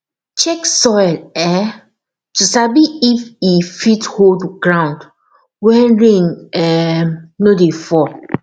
check soil um to sabi if e fit hold ground when rain um no dey fall